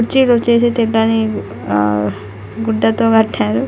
కుర్చీలు వచ్చేసి తినడానికి ఆ గుడ్డతో కట్టారు.